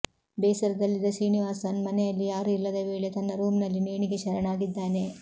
ಬೇಸರದಲ್ಲಿದ್ದ ಶ್ರೀನಿವಾಸನ್ ಮನೆಯಲ್ಲಿ ಯಾರೂ ಇಲ್ಲದ ವೇಳೆ ತನ್ನ ರೂಮ್ನಲ್ಲಿ ನೇಣಿಗೆ ಶರಣಾಗಿದ್ದಾನೆ